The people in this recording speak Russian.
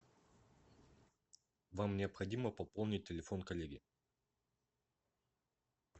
вам необходимо пополнить телефон коллеги